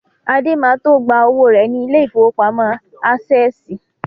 Adé ma tó gba owó rẹ̀ ní ilé ìfowópamọ́ Ásẹ̀sì